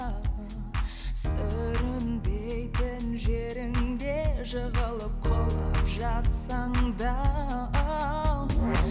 сүрінбейтін жеріңде жығылып құлап жатсаң да